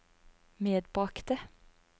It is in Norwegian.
medbragte